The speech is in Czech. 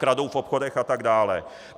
Kradou v obchodech atd.